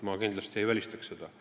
Ma kindlasti ei välista seda.